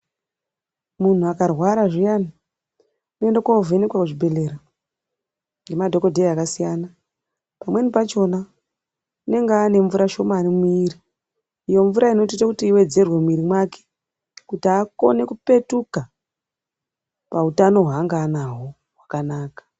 Munhu akarwara zviyani unoende kovhenekwa kuzvibhedhlera ngema dhokodheya akasiyana pamweni pachona unenge anemvura shomani mwiri iyo mvura inotoita kuti iwedzerwe muwmiri mwake kuti akone kupetuka pautano hwaanga anahwo hwakanaka.